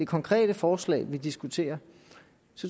konkrete forslag vi diskuterer